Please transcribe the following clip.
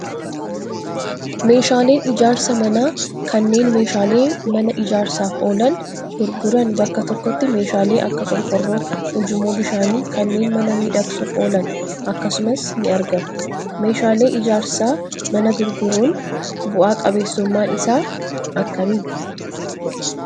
Meeshaaleen ijaarsa manaa kanneen meeshaalee manaa ijaarsaaf oolan gurguran bakka tokkotti meeshaalee Akka qorqoorroo, ujummoo bishaanii, kanneen mana miidhagsuuf oolan akkasumas ni argamu. Meeshaalee ijaarsa manaa gurguruun bu'aa qabeessummaan isaa akkami?